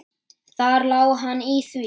Þar lá hann í því!